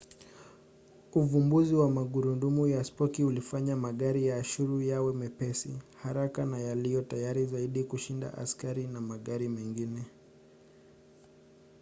uvumbuzi wa magurudumu ya spoki ulifanya magari ya ashuru yawe mepesi haraka na yaliyo tayari zaidi kushinda askari na magari mengine